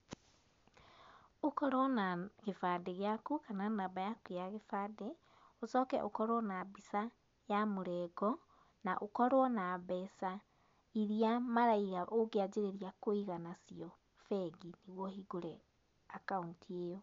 Ũkorwo na gĩbandĩ gĩaku kana namba yaku ya gĩbandĩ, ũcoke ũkorwo na mbica ya mũrengo, na ũkorwo na mbeca iria maraiga ũngĩanjĩrĩria kũiga nacio bengi nĩguo ũhingũre akaũnti ĩyo.